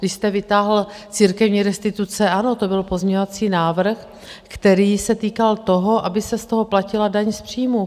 Když jste vytáhl církevní restituce, ano, to byl pozměňovací návrh, který se týkal toho, aby se z toho platila daň z příjmu.